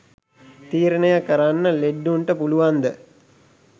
තීරණය කරන්න ලෙඩ්ඩුන්ට පුලුවන්ද?